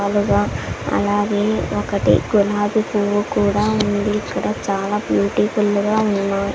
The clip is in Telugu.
అలాగే ఒకటి గులాబి పువ్వు కూడా ఉంది ఇక్కడ చాలా బ్యూటిఫుల్లు గా ఉన్నాయ్.